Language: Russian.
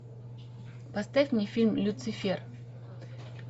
поставь мне фильм люцифер